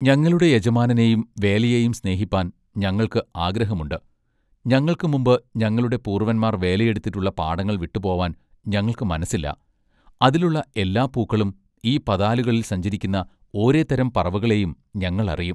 ഞങ്ങളുടെ യജമാനനേയും വേലയേയും സ്നേഹിപ്പാൻ ഞങ്ങൾക്ക് ആഗ്രഹമുണ്ട് ഞങ്ങൾക്ക് മുമ്പ് ഞങ്ങളുടെ പൂർവന്മാർ വേലയെടുത്തിട്ടുള്ള പാടങ്ങൾ വിട്ടുപോവാൻ ഞങ്ങൾക്ക് മനസ്സില്ല അതിലുള്ള എല്ലാ പൂക്കളും ഈ പതാലുകളിൽ സഞ്ചരിക്കുന്ന ഓരെ തരം പറവകളെയും ഞങ്ങൾ അറിയും.